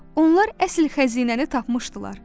Onlar əsl xəzinəni tapmışdılar.